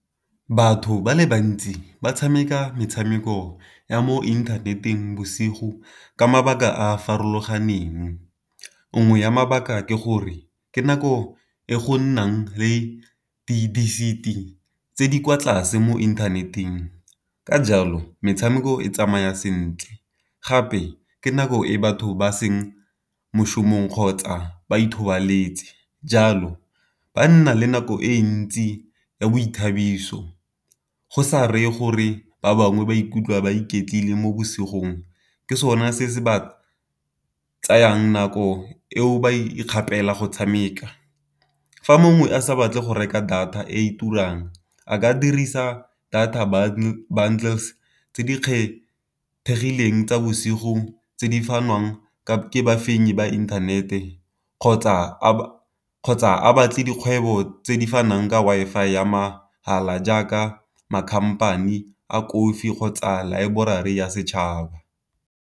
Batho ba le bantsi ba tshameka metshameko ya mo inthaneteng bosigo ka mabaka a a farologaneng, nngwe ya mabaka ke gore ke nako e go nnang le di tse di kwa tlase mo inthaneteng. Ka jalo metshameko e tsamaya sentle, gape ke nako e batho ba seng mošomong kgotsa ba ithobaletse. Jalo ba nna le nako e ntsi ya boithabiso go sa reye gore ba bangwe ba ikutlwa ba iketlile mo bosigong, ke sone se se ba tsayang nako eo ba ikgapela go tshameka. Fa mongwe a sa batle go reka data e turang a ka dirisa data bundles tse di kgethegileng tsa bosigo tse di fanwang ke bafenyi ba inthanete kgotsa a batle dikgwebo tse di fanwang ka Wi-Fi ya mahala jaaka ma-company a kofi kgotsa laeborari ya setšhaba.